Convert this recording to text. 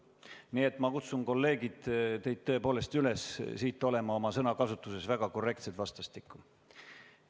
Nii et ma kutsun, kolleegid, teid tõepoolest üles olema oma sõnakasutuses vastastikku väga korrektsed.